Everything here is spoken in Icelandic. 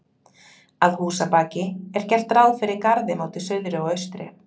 Að húsabaki er gert ráð fyrir garði móti suðri og austri.